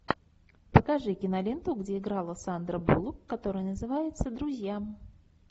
покажи киноленту где играла сандра буллок которая называется друзья